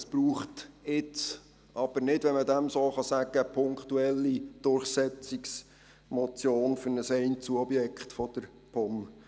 Es braucht jetzt aber nicht eine punktuelle Durchsetzungsmotion für ein Einzelobjekt der POM.